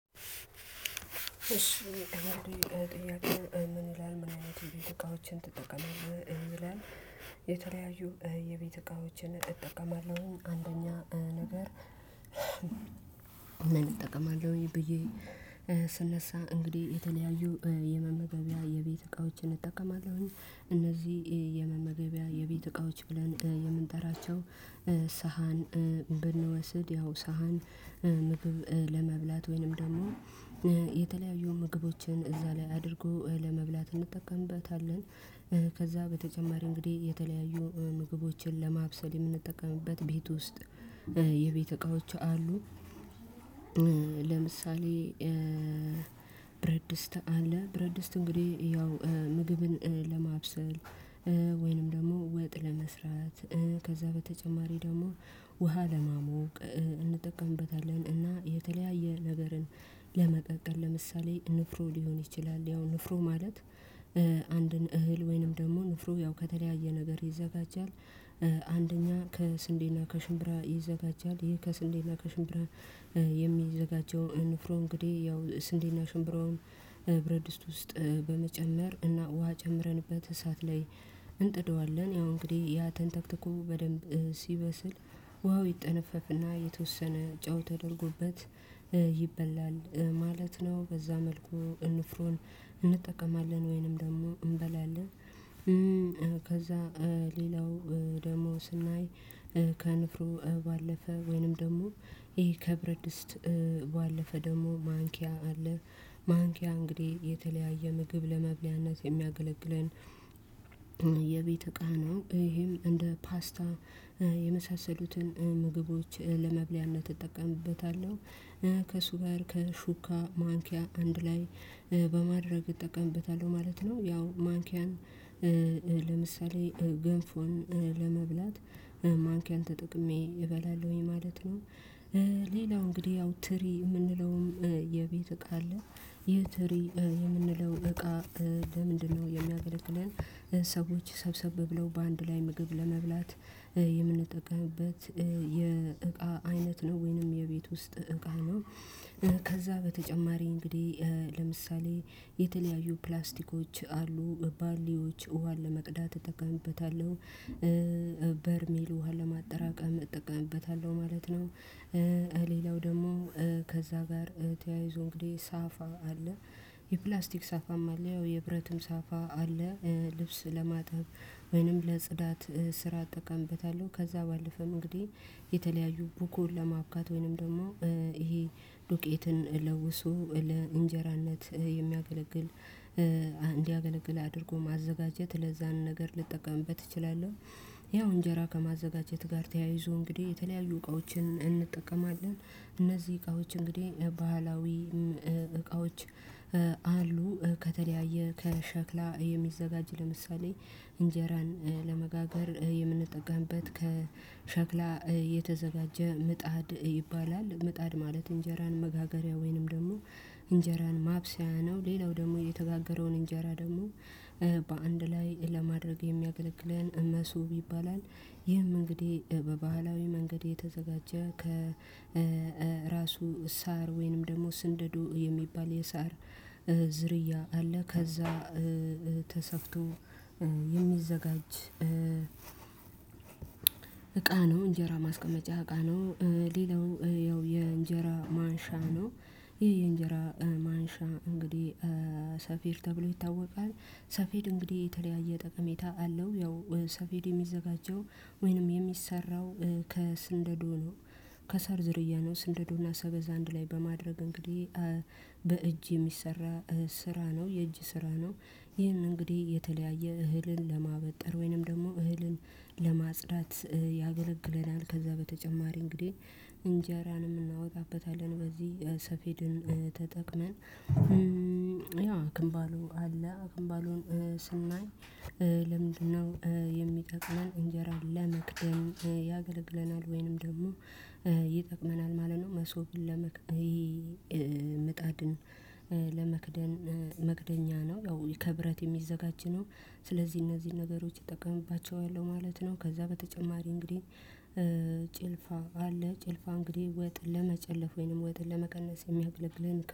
እሺ ጥያቄው ምን ይላል ምን አይነት ቤት እቃዎችን ትጠቀማለህ ይላል? የተለያዩ የቤት እቃዎችን እጠቀማለሁ። አንደኛ ነገር እጠቀማለሁኝ ብዬ ስነሳ እንግዲህ የተለያዩ የመመገቢያ የቤት እቃዎችን እጠቀማለሁኝ። እነዚህ የመመገቢያ የቤት እቃዎች ብለን የምንጠራቸው ሳህን ብንወስድ ያው ሳህን ምግብ ለመብላት ወይንም ደግሞ የተለያዩ ምግቦችን እዛ ላይ አድርጎ ለመብላት እንጠቀምበታለን። ከዛ በተጨማሪ እንግዲህ የተለያዩ ምግቦችን ለማብሰል የምንጠቀምበት ቤት ውስጥ የቤት እቃዎች አሉ። ለምሳሌ ብረት ድስት አለ። ብረት ድስት እንግዲህ ያው ምግብን ለማብሰል ወይንም ደግሞ ወጥ ለመስራት ከዛ በተጨማሪ ደግሞ ውሃ ለማሞቅ እንጠቀምበታለን። እና የተለያየ ነገርን ለመቀቀል ለምሳሌ ንፍሮ ሊሆን ይችላል ያው ንፍሮ ማለት አንድን እህል ወይንም ደግሞ ንፍሮ ያው ከተለያየ ነገር ይዘጋጃል። አንደኛ ከስንዴና ከሽምብራ ይዘጋጃል። ይሄ ከስንዴና ከሽምብራ የሚዘጋጀው ንፍሮ እንግዲህ ያው ስንዴና ሽምብረውን ብረድስት ውስጥ በመጨመር እና ውሃ ጨምረንበት እሳት ላይ እንጥደዋለን። ያው እንግዲህ ያ ተንተክተኮ በደንብ ሲበስል ውሃው ይጠነፈፍና የተወሰነ ጨው ተደርጎበት ይበላል ማለት ነው። በዛ መልኩ ንፍሮን እንጠቀማለን ወይንም ደግሞ እንበላለን። ከዛ ሌላው ደግሞ ስናይ ከንፍሮ ባለፈ ወይንም ደግሞ ይሄ ከብረት ድስት ባለፈ ደግሞ ማንኪያ አለ። ማንኪያ እንግዲህ የተለያየ ምግብ ለመብያነት የሚያገለግለን የቤት ቃናው ይሄም እንደ ፓስታ የመሳሰሉትን ምግቦች ለመብያነት እጠቀምበታለሁ ከእሱ ጋር ከሹካ ማንኪያ አንድ ላይ በማድረግ እጠቀምበታለሁ ማለት ነው። ያው ማንኪያን ለምሳሌ ገንፎን ለመብላት ማንኪያን ተጠቅሜ እበላለሁኝ ማለት ነው። ሌላው እንግዲህ ያው ትሪ የምንለውም የቤት እቃ አለ ይህ ትሪ የምንለው እቃ ለምንድነው የሚያገለግለን ሰዎች ሰብሰብ ብለው በአንድ ላይ ምግብ ለመብላት የምንጠቀምበት የእቃ አይነት ነው? ወይንም የቤት ውስጥ እቃ ነው። ከዛ በተጨማሪ እንግዲህ ለምሳሌ የተለያዩ ፕላስቲኮች አሉ ባልዲዎች አሉ ውሃ ለመቅዳት እጠቀምበታለሁ በርሜል ውሃ ለማጠራቀም እጠቀምበታለሁ ማለት ነው። ሌላው ደግሞ ከዛ ጋር ተያይዞ እንግዲህ ሳፋ አለ የፕላስቲክ ሳፋም አለ ያው የብረትም ሳፋ አለ ልብስ ለማጠብ ወይንም ለጽዳት ስራ አጠቃምበታለሁ። ከዛ ባለፈ እንግዲህ የተለያዩ ቡኩን ለማብካት ወይንም ደግሞ ይሄ ዱቄትን ለውሶ ለእንጀራነት የሚያገለግል እንዲያገለግል አድርጎ ማዘጋጀት ለዛን ነገር ልጠቀምበት እችላለሁ። እነዚሁም እንጀራ ከማዘጋጀት ጋር ተያይዞ እንግዲህ የተለያዩ እቃዎችን እንጠቀማለን እነዚህ እቃዎች እንግዲህ ባህላዊ እቃዎች አሉ ከተለያየ ከሸክላ የሚዘጋጅ ለምሳሌ እንጀራን ለመጋገር የምንጠቀምበት ከሸክላ የተዘጋጀ ምጣድ ይባላል። ምጣድ ማለት እንጀራን መጋገሪያ ወይንም ደግሞ እንጀራን ማብሰያ ነው። ሌላው ደግሞ የተጋገረውን እንጀራ ደግሞ በአንድ ላይ ለማድረግ የሚያገለግለን መሶብ ይባላል። ይህም እንግዲህ በባህላዊ መንገድ የተዘጋጀ ከራሱ ሳር ወይንም ደግሞ ስንደዶ የሚባል የሳር ዝርያ አለ ከዛ ተሰፍቶ የሚዘጋጅ እቃ ነው እንጀራ ማስቀመጫ እቃ ነው። ሌላው ያው የእንጀራ ማንሻ ነው። ይሄ የእንጀራ ማንሻ እንግዲህ ሰፌድ ተብሎ ይታወቃል። ሰፌድ እንግዲህ የተለያየ ጠቀሜታ አለው ያው ሰፌድ የሚዘጋጀው ወይንም የሚሰራው ከስንደዶ ነው። ከሰር ዝርያ ነው ስንደዶና ሰበዝ አንድ ላይ በማድረግ እንግዲህ በእጅ የሚሰራ ስራ ነው የእጅ ስራ ነው። ይህንን እንግዲህ የተለያየ እህልን ለማበጠር ወይንም ደግሞ እህልን ለማጽዳት ያገለግለናል። ከዛ በተጨማሪ እንግዲህ እንጀራንም እናወጣበታለን በዚህ ሰፌድን ተጠቅመን ያው አክንባሎን አለ አክንባሎን ስናይ ለምንድነው የሚጠቅመን እንጀራን ለመክደን ያገለግለናል ወይንም ደግሞ ይጠቅመናል። ማለት ነው። መሶብን ለመክደይ ምጣድን ለመክደን መክደኛ ነው። ያው ከብረት የሚዘጋጅ ነው ስለዚህ እነዚህ ነገሮች እጠቀምባቸዋለው ማለት ነው። ከዛ በተጨማሪ እንግዲህ ጭልፋ አለ ጭልፋ እንግዲህ ወጥ ለመጨለፍ ወይንም ወጥን ለመቀነስ የሚያገለግለን እቃ